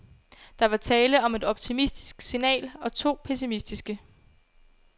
Der var tale om et optimistisk signal og to pessimistiske.